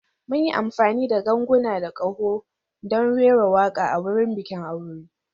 Mun yi amfani da ganguna da ƙaho don rera waƙa a wurin bikin aure.